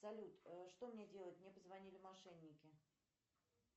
салют что мне делать мне позвонили мошенники